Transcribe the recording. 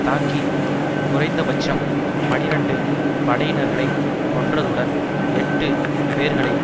தாக்கி குறைந்தபட்சம் பனிரண்டு படையினர்களை கொன்றதுடன் எட்டு பேர்களை